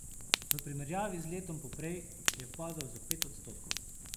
V primerjavi z letom poprej je padel za pet odstotkov.